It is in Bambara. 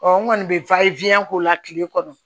n kɔni bɛ k'o la tile kɔnɔ